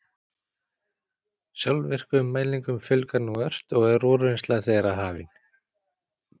Sjálfvirkum mælingum fjölgar nú ört og er úrvinnsla þeirra hafin.